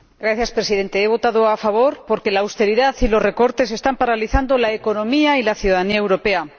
Señor Presidente, he votado a favor porque la austeridad y los recortes están paralizando la economía y la ciudadanía europea.